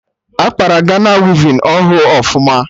Akpara Gana wivin ahụ ọfụma?